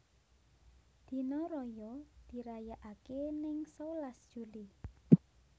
Dino raya dirayakake neng sewelas Juli